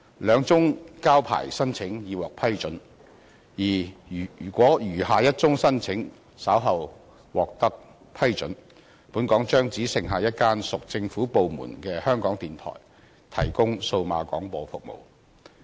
兩宗交牌申請已獲批准，而如果餘下一宗申請稍後獲得批准，本港將只剩下一間屬政府部門的香港電台提供數碼廣播服務。